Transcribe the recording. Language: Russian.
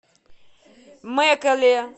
мэкэле